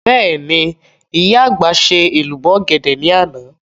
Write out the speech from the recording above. Bẹ́ẹ̀ni, ìyá àgbà ṣe èlùbọ́ ọ̀gẹ̀dẹ̀ ní àná